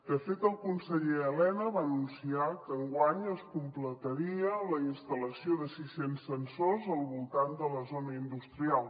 de fet el conseller elena va anunciar que enguany es completaria la instal·lació de sis cents sensors al voltant de la zona industrial